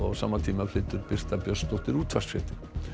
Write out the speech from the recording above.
þá flytur Birta Björnsdóttir útvarpsfréttir